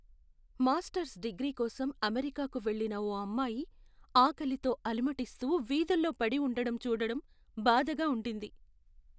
Masters degree కోసం అమెరికాకు వెళ్లిన ఓ అమ్మాయి ఆకలితో అలమటిస్తూ వీధుల్లో పడి ఉండడం చూడడం బాధగా ఉండింది.